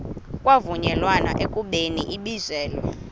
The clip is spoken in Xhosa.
kwavunyelwana ekubeni ibizelwe